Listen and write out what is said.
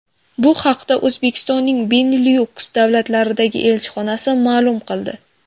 Bu haqda O‘zbekistonning Benilyuks davlatlaridagi elchixonasi ma’lum qildi .